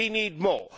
We need more.